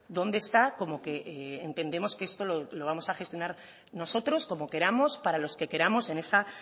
dónde está como que entendemos que esto lo vamos a gestionar nosotros como queramos para los que queramos en esa